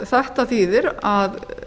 þetta þýðir að